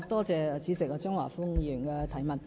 主席，感謝張華峰議員的質詢。